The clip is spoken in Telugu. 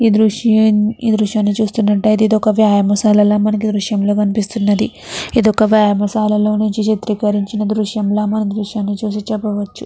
దృశ్యాన్ని చూస్తున్నట్లయితే ఒక వ్యాయామశానలాగా మనకి ఈ దృశ్యంలో కనిపిస్తూ ఉన్నది. ఇది ఒక వ్యాయామదాలలో నుంచి చిత్రీకరించిన దృశ్యం లాగా మనకు ఈ దృశ్యాన్ని చూసి చెప్పవచ్చును.